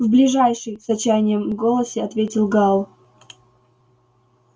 в ближайший с отчаянием в голосе ответил гаал